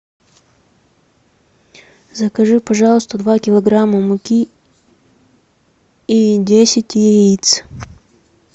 закажи пожалуйста два килограмма муки и десять яиц